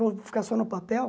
Eu vou ficar só no papel?